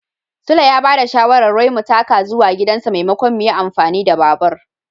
Sule ya ba da shawarar wai mu taka zuwa gidansa maimakon mu yin amfani da babur.